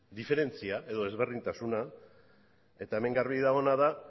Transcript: diferentzia edo desberdintasuna eta hemen garbi dagoena da